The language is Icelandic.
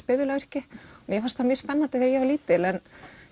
bifvélavirki mér fannst það mjög spennandi þegar ég var lítil en